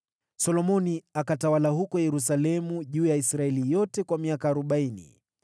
Solomoni alitawala Israeli yote miaka arobaini, akiwa Yerusalemu.